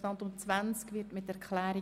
– Das ist nicht der Fall.